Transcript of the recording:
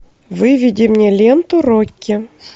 выведи мне ленту рокки